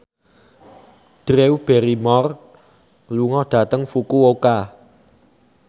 Drew Barrymore lunga dhateng Fukuoka